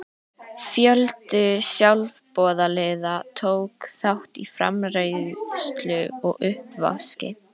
Fjöldi sjálfboðaliða tók þátt í framreiðslu og uppvaski.